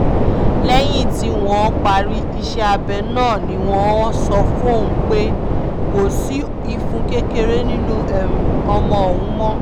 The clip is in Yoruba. lẹ́yìn tí wọ́n parí iṣẹ́ abẹ náà ni wọ́n sọ fóun pé kò sí ìfun kékeré nínú ọmọ òun mọ́